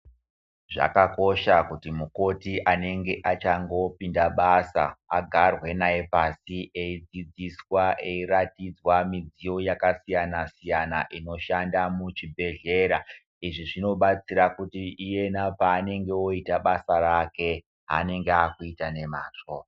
Zvakakosha kuti mukoti anenge achangopinda basa agarwe naye pasi eidzidziswa eiratidzwa midziyo yakasiyana-siyana, inoshanda muchibhedhlera. Izvi zvinobatsira kuti iyena paangenge voita basa rake anenge akuita nemazvo.